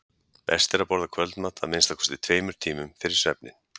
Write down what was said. Best er að borða kvöldmat að minnsta kosti tveimur tímum fyrir svefninn.